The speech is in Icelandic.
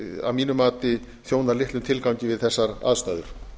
að mínu mati þjónar litlum tilgangi við þessar aðstæður